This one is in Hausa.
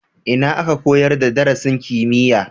Ina aka koyar da darasin kimiyya?